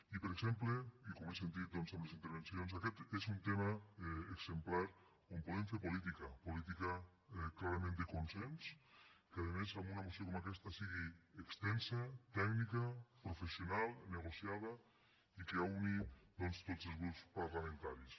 i per exemple i com he sentit doncs en les intervencions aquest és un tema exemplar on podem fer política política clarament de consens que a més amb una moció com aquesta sigui extensa tècnica professional negociada i que uneixi tots els grups parlamentaris